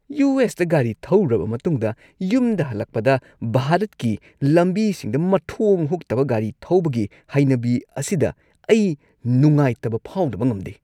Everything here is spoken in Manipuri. ꯌꯨ. ꯑꯦꯁ. ꯇ ꯒꯥꯔꯤ ꯊꯧꯔꯨꯔꯕ ꯃꯇꯨꯡꯗ, ꯌꯨꯝꯗ ꯍꯜꯂꯛꯄꯗ ꯚꯥꯔꯠꯀꯤ ꯂꯝꯕꯤꯁꯤꯡꯗ ꯃꯊꯣꯡ ꯍꯨꯛꯇꯕ ꯒꯥꯔꯤ ꯊꯧꯕꯒꯤ ꯍꯩꯅꯕꯤ ꯑꯁꯤꯗ ꯑꯩ ꯅꯨꯡꯉꯥꯏꯇꯕ ꯐꯥꯎꯗꯕ ꯉꯝꯗꯦ ꯫